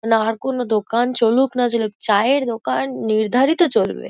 না আর কোনো দোকান চলুক না চলুক চায়ের দোকান নির্ধাআ রিত চলবে।